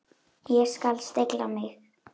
Ég skal stilla mig.